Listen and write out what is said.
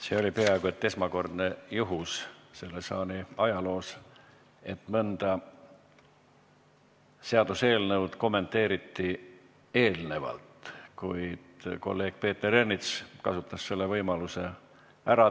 See oli peaaegu et esmakordne juhtum selle saali ajaloos, et seaduseelnõu kommenteeriti enne selle esimest lugemist, kuid kolleeg Peeter Ernits kasutas selle võimaluse ära.